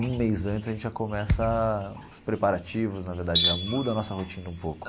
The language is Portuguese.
Um mês antes a gente já começa os preparativos, na verdade, já muda a nossa rotina um pouco.